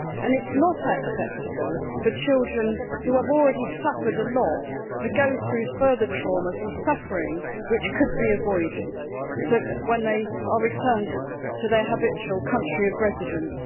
It is not acceptable for children who have already suffered a lot to go through further traumas and suffering, which could be avoided, when they are returned to their habitual country of residence.